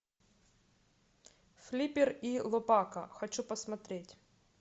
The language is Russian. флиппер и лопака хочу посмотреть